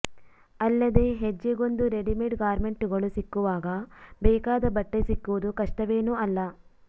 ಅಲ್ಲದೇ ಹೆಜ್ಜೆಗೊಂದು ರೆಡಿಮೇಡ್ ಗಾರ್ಮೆಂಟುಗಳು ಸಿಕ್ಕುವಾಗ ಬೇಕಾದ ಬಟ್ಟೆ ಸಿಕ್ಕುವುದು ಕಷ್ಟವೇನೂ ಅಲ್ಲ